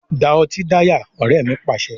Da ọtí dáyà! Ọrẹ mi Pàṣẹ.